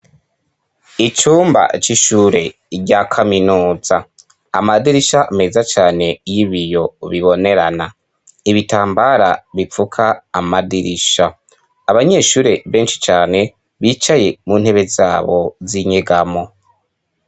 Icumba c'ishure rya kaminuza ,amadirisha meza cane y'ibiyo bibonerana, ibitambara bipfuka amadirisha, abanyeshure benshi cane bicaye mu ntebe zabo z'inyegamo.